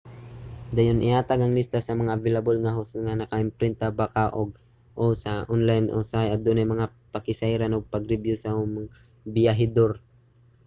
dayon ihatag ang lista sa mga available nga host nga naka-imprinta ba kaha ug/o sa online usahay adunay mga pakisayran ug pagribyu sa ubang mga biyahedor